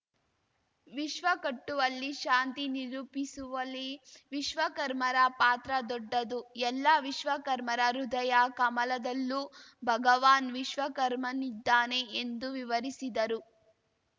ವಿಶ್ವ ಕಟ್ಟುವಲ್ಲಿ ಶಾಂತಿ ನಿರೂಪಿಸುವಲಿ ವಿಶ್ವಕರ್ಮರ ಪಾತ್ರ ದೊಡ್ಡದು ಎಲ್ಲ ವಿಶ್ವಕರ್ಮರ ಹೃದಯ ಕಮಲದಲ್ಲೂ ಭಗವಾನ್‌ ವಿಶ್ವಕರ್ಮನಿದ್ದಾನೆ ಎಂದು ವಿವರಿಸಿದರು